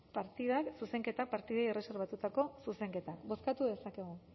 partidei erreserbatutako zuzenketak bozkatu dezakegu